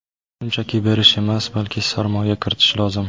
Shunchaki berish emas, balki sarmoya kiritish lozim!